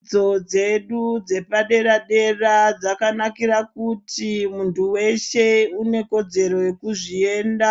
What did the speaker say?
Dzidzo dzedu dzepadera dera dzakanakira kuti muntu weshe une kodzero yekuzvienda